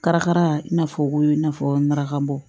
Karakara i n'a fɔ ko i n'a fɔ marakabɔ